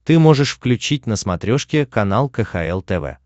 ты можешь включить на смотрешке канал кхл тв